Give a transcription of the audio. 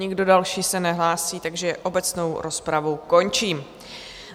Nikdo další se nehlásí, takže obecnou rozpravu končím.